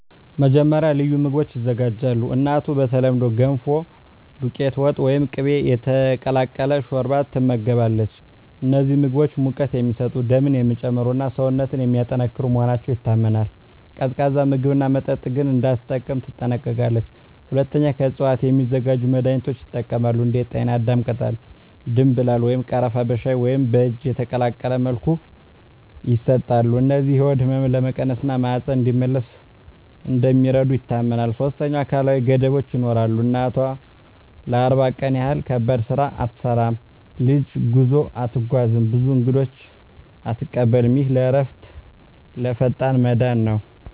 መጀመሪያ፣ ልዩ ምግቦች ይዘጋጃሉ። እናቱ በተለምዶ “ገንፎ”፣ “ዱቄት ወጥ” ወይም “ቅቤ የተቀላቀለ ሾርባ” ትመገባለች። እነዚህ ምግቦች ሙቀት የሚሰጡ፣ ደምን የሚጨምሩ እና ሰውነትን የሚያጠናክሩ መሆናቸው ይታመናል። ቀዝቃዛ ምግብና መጠጥ ግን እንዳትጠቀም ትጠነቀቃለች። ሁለተኛ፣ ከእፅዋት የሚዘጋጁ መድኃኒቶች ይጠቀማሉ። እንደ ጤናዳም ቅጠል፣ ደምብላል ወይም ቀረፋ በሻይ ወይም በእጅ የተቀቀለ መልኩ ይሰጣሉ። እነዚህ የሆድ ህመምን ለመቀነስ እና ማህፀን እንዲመለስ እንደሚረዱ ይታመናል። ሶስተኛ፣ አካላዊ ገደቦች ይኖራሉ። እናቱ ለ40 ቀን ያህል ከባድ ስራ አትሠራም፣ ረጅም ጉዞ አትጓዝም፣ ብዙ እንግዶችንም አትቀበልም። ይህ ለእረፍትና ለፈጣን መዳን ነው